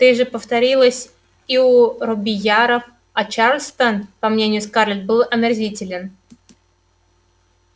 ты же повторилось и у робийяров а чарльстон по мнению скарлетт был омерзителен